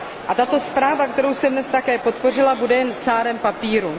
A tato zpráva, kterou jsem dnes také podpořila, bude jen cárem papíru.